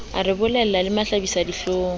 a re bolella le mahlabisadihlong